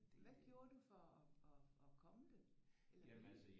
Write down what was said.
Hvad gjorde du for at at at komme det? Eller blive det?